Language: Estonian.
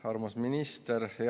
Armas minister!